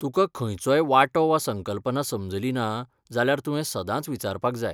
तुका खंयचोय वांटो वा संकल्पना समजली ना जाल्यार तुवें सदांच विचारपाक जाय.